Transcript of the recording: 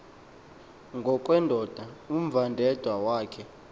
ngokwendoda umvandedwa wakhe